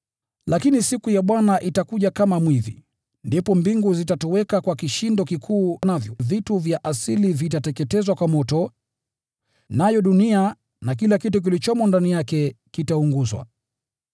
Lakini siku ya Bwana itakuja kama mwizi. Ndipo mbingu zitatoweka kwa kishindo kikuu; navyo vitu vya asili vitateketezwa kwa moto, nayo dunia na kila kitu kilichomo ndani yake kitaunguzwa.